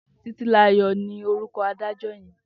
Titilola ni órúkò ádàjò yèn